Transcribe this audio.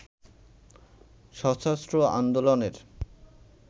সশস্ত্র আন্দোলনের